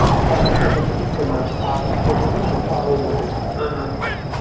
пятьдесят процентов скидка на пару ну на пару обуви